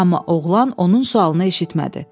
Amma oğlan onun sualını eşitmədi.